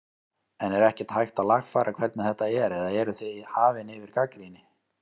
En er ekkert hægt að lagfæra hvernig þetta er eða eruð þið hafin yfir gagnrýni?